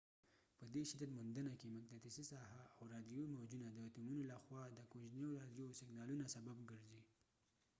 په دي شدت موندنه کې مقناطیسی ساحه او راديوي موجونه د اتومونو له خوا د کوجنیو راديوي سګنالونو سبب کېږی